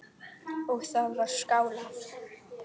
Og það var skálað.